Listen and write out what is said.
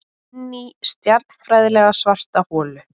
Inní stjarnfræðilega svarta holu.